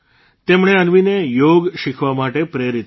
તેમણે અન્વીને યોગ શીખવા માટે પ્રેરિત કરી